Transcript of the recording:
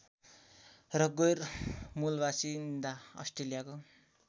र गैरमूलबासिन्दा अस्ट्रेलियाको